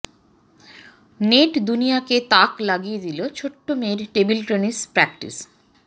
নেটদুনিয়াকে তাক লাগিয়ে দিল ছোট্ট মেয়ের টেবিল টেনিস প্র্যাকটিস